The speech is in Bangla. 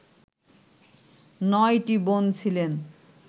নয়টি বোন ছিলেন